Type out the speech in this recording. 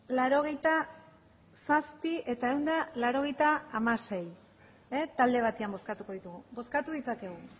laurogeita zazpi eta ehun eta laurogeita hamaseigarrena talde batean bozkatuko ditugu bozkatu ditzakegu